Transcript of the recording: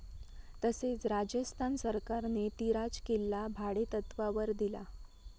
तसेच राजस्थान सरकारने तिराज किल्ला भाडेतत्वावर दिला.